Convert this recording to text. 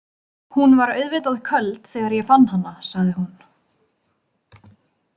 Hún var auðvitað köld þegar ég fann hana, sagði hún.